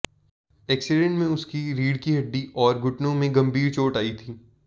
accident में उसकी रीढ़ की हड्डी और घुटनों में गंभीर चोट आई थी